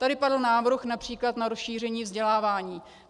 Tady padl návrh například na rozšíření vzdělávání.